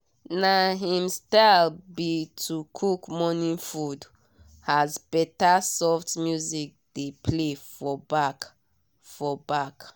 na him style be to cook morning food as better soft music dey play for back. for back.